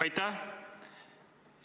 Aitäh!